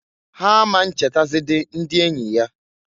Ha a ma nchetazidi ndi enyi ya.